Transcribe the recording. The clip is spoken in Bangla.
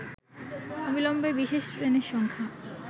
অবিলম্বে বিশেষ ট্রেনের সংখ্যা